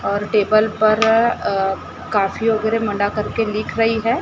और टेबल पर अ काफी वगैरह करके लिख रही है।